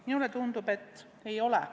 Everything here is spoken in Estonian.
Minule tundub, et ei ole.